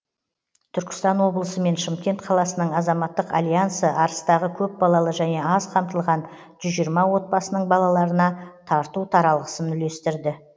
түркістан облысы мен шымкент қаласының азаматтық альянсы арыстағы көпбалалы және аз қамтылған жүз жиырма отбасының балаларына тарту таралғысын үйлестірді